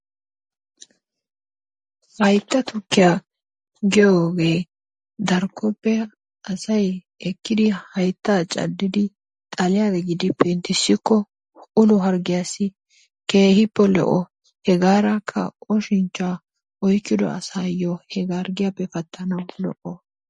Haytta tukkiya giyoogee darkkoppe asay ekkidi hayttaa caddidi xaliya giddi penttisikko ulo harggiyassi keehiippe lo'o. Hegaarakka oshinchchaa oykkido asaayo he harggiyaappe pattanawu lo'o.